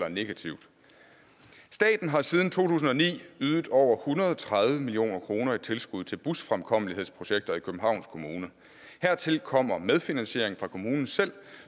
og negativt staten har siden to tusind og ni ydet over hundrede og tredive million kroner i tilskud til busfremkommelighedsprojekter i københavns kommune hertil kommer medfinansiering fra kommunen selv